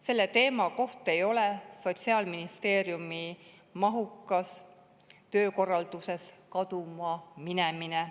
Selle teema ei saa olla Sotsiaalministeeriumi mahukas töökorralduses kaduma minemine.